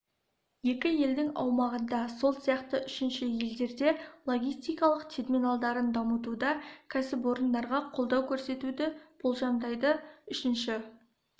екі елдің аумағында сол сияқты үшінші елдерде логистикалық терминалдарын дамытуда кәсіпорындарға қолдау көрсетуді болжамдайды үшінші